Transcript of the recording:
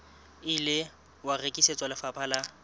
ile wa rekisetswa lefapha la